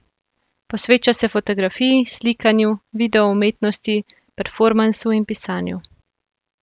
Posveča se fotografiji, slikanju, videoumetnosti, performansu in pisanju.